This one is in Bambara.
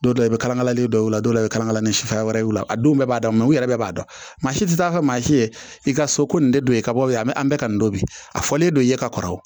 Don dɔ la i bɛ kalakalalen dɔ la dɔw la i bɛ kalakala ni sufɛ wɛrɛ y'u la a donw bɛɛ b'a daminɛ u yɛrɛ b'a dɔn maa si tɛ taa ka maa si ye i ka so ko nin de don i ka bɔ ye a bɛ an bɛ ka nin don bi a fɔlen don i ye ka kɔrɔ wa